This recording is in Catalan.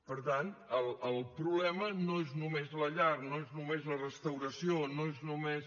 per tant el problema no és només la llar no és només la restauració no és només